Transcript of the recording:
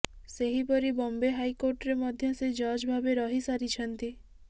ସେହିପରି ବମ୍ବେ ହାଇକୋର୍ଟରେ ମଧ୍ୟ ସେ ଜଜ୍ ଭାବେ ରହି ସରିଛନ୍ତି